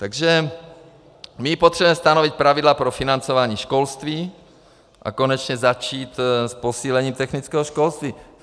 Takže my potřebujeme stanovit pravidla pro financování školství a konečně začít s posílením technického školství.